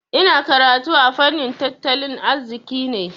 Ina karanta fannin tattalin arziki ne.